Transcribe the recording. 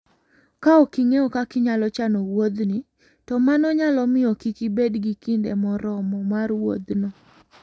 Ka ok ing'eyo kaka inyalo chano wuodhni, to mano nyalo miyo kik ibed gi kinde moromo mar wuodhno.